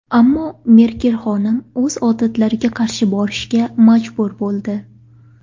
Ammo Merkel xonim o‘z odatlariga qarshi borishga majbur bo‘ldi.